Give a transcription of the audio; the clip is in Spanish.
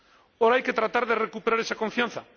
Ahora hay que tratar de recuperar esa confianza.